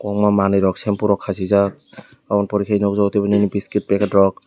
ownga manui rok sempo rok khasijak obononi pore ke nogjago tebo nini biskit packet rok.